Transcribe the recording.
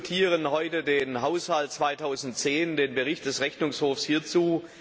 Wir diskutieren heute den Haushalt 2010, den Bericht des Rechnungshofs hierzu.